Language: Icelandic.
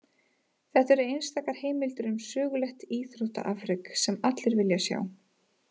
Þetta eru einstakar heimildir um sögulegt íþróttaafrek, sem allir vilja sjá.